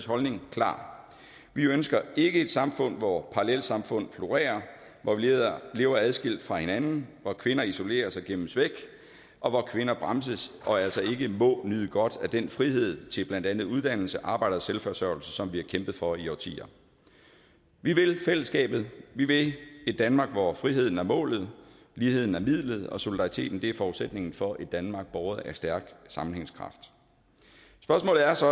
holdning klar vi ønsker ikke et samfund hvor parallelsamfund florerer hvor vi lever adskilt fra hinanden hvor kvinder isoleres og gemmes væk og hvor kvinder bremses og altså ikke må nyde godt af den frihed til blandt andet uddannelse arbejde og selvforsørgelse som vi har kæmpet for i årtier vi vil fællesskabet vi vil et danmark hvor friheden er målet ligheden er midlet og solidariteten er forudsætningen for et danmark båret af stærk sammenhængskraft spørgsmålet er så